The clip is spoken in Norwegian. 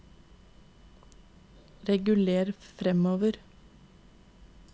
reguler framover